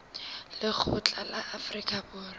lekgotla la afrika borwa la